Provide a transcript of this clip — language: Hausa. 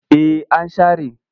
Eh an share.